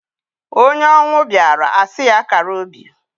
Onye ọnwụ bịaara a sị ya kara obi.